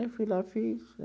Aí fui lá, fiz.